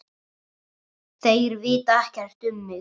Þeir vita ekkert um mig.